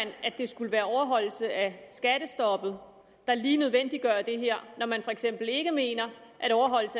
det skulle være en overholdelse af skattestoppet der lige nødvendiggør det her når man for eksempel ikke mener